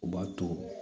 U b'a to